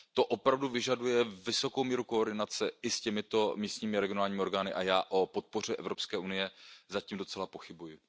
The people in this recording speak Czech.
To opravdu vyžaduje vysokou míru koordinace i s těmito místními a regionálními orgány a já o podpoře Evropské unie zatím docela pochybuji.